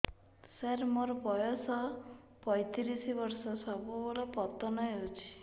ସାର ମୋର ବୟସ ପୈତିରିଶ ବର୍ଷ ସବୁବେଳେ ପତନ ହେଉଛି